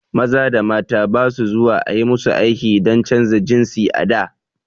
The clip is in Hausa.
Maza da mata ba su zuwa ayi musu aiki dan canja jinsi a da